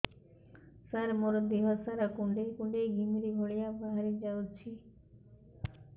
ସାର ମୋର ଦିହ ସାରା କୁଣ୍ଡେଇ କୁଣ୍ଡେଇ ଘିମିରି ଭଳିଆ ବାହାରି ଯାଉଛି